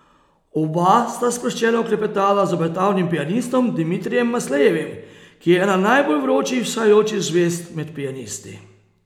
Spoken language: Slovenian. Oba sta sproščeno klepetala z obetavnim pianistom Dimitrijem Maslejevim, ki je ena najbolj vročih vzhajajočih zvezd med pianisti.